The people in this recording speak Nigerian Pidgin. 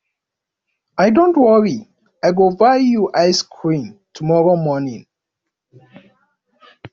dont worry i go buy you ice cream tomorrow morning